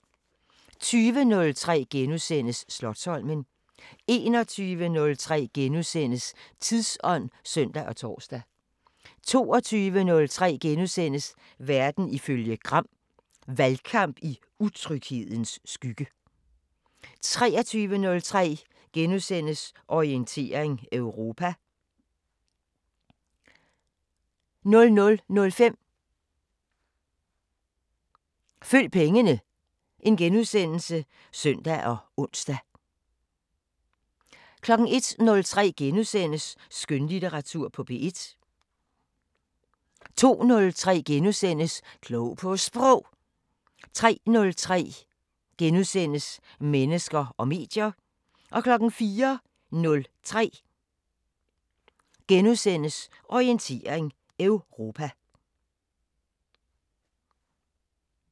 20:03: Slotsholmen * 21:03: Tidsånd *(søn og tor) 22:03: Verden ifølge Gram: Valgkamp i utryghedens skygge * 23:03: Orientering Europa * 00:05: Følg pengene *(søn og ons) 01:03: Skønlitteratur på P1 * 02:03: Klog på Sprog * 03:03: Mennesker og medier * 04:03: Orientering Europa *